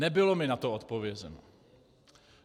Nebylo mi na to odpovězeno.